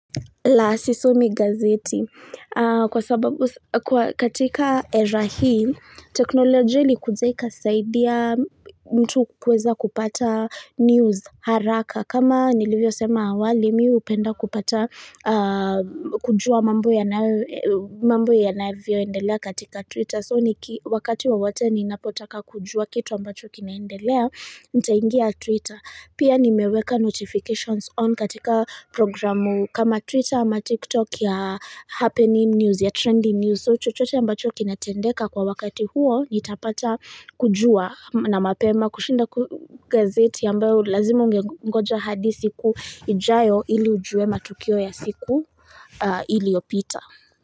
La sisomi gazeti. Kwa sababu katika era hii, teknolojia ilikuja ikasaidia mtu kuweza kupata news haraka. Kama nilivyo sema awali, mi upenda kupata kujua mambo yanavyoendelea katika Twitter. So ni wakati wowote ninapotaka kujua kitu ambacho kinaendelea nitaingia Twitter Pia nimeweka notifications on katika programu kama Twitter ama TikTok ya happening news ya trending news So chochote ambacho kinatendeka kwa wakati huo nitapata kujua na mapema kushinda gazeti ambyo lazima ungengoja hadi siku ijayo ili ujue matukio ya siku iliopita.